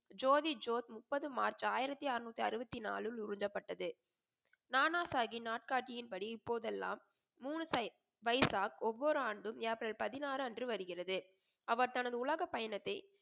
ஜோதி ஜோஷ் முப்பது மார்ச் ஆயிரத்தி அரனுத்தி அறுபத்தி நாளில் உருவப்பட்டது. நானா சாஹிப் நாட்காட்டியின் படி இப்போதெல்லாம் மூணு பை பைசா ஒவ்வொரு ஆண்டும் ஏப்ரல் பதினாறு அன்று வருகிறது. அவர் தனது உலக பயணத்தை